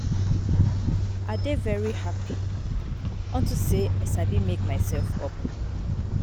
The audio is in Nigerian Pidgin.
I dey very happy unto say I sabi make myself up